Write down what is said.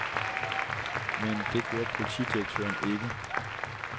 Men det gjorde politidirektøren ikke.